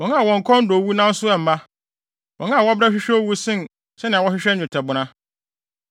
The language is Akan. wɔn a wɔn kɔn dɔ owu nanso ɛmma, wɔn a wɔbrɛ hwehwɛ owu sen sɛnea wɔhwehwɛ nnwetɛbona,